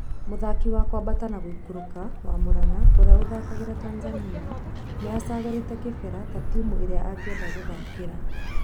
(Riũa) Muthaki wa kuambata nagũikũrũrũka wa Muranga ũria ũthakagĩra Tathanianiacagũrite Kibera ta timũ irĩa agĩenda gũthakira.